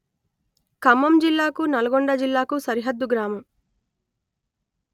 ఖమ్మం జిల్లాకు నల్గొండ జిల్లాకు సరిహద్దు గ్రామం